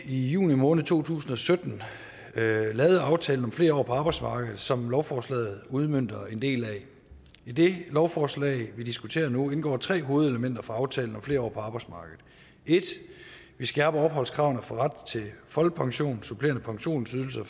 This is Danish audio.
i juni måned to tusind og sytten lavede aftale om flere år på arbejdsmarkedet som lovforslaget udmønter en del af i det lovforslag vi diskuterer nu indgår tre hovedelementer fra aftale om flere år på arbejdsmarkedet 1 vi skærper opholdskravet for ret til folkepension supplerende pensionsydelser